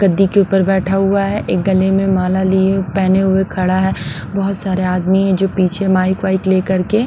गद्दी के ऊपर बैठा हुआ है एक गले में माला लिए पहने हुए खड़ा है बहुत सारे आदमी हैं जो पीछे माइक वाइक लेकर के।